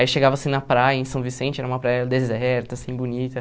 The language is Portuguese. Aí chegava assim na praia em São Vicente, era uma praia deserta, assim, bonita.